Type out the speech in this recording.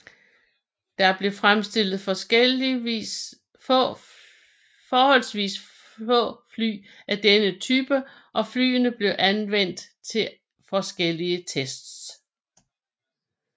Der blev fremstillet forholdsvist få fly af denne type og flyene blev anvendt til forskellige tests